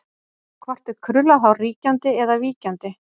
Hvort er krullað hár ríkjandi eða víkjandi?